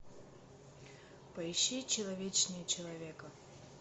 поищи человечнее человека